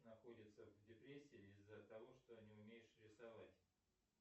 находится в депрессии из за того что не умеешь рисовать